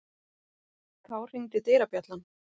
Þá hringdi dyrabjallan.